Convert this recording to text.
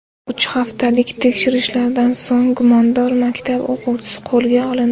Uch haftalik tekshirishlardan so‘ng gumondor maktab o‘quvchisi qo‘lga olindi.